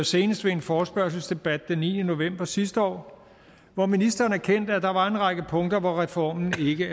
senest ved en forespørgselsdebat den niende november sidste år hvor ministeren erkendte at der var en række punkter hvor reformen ikke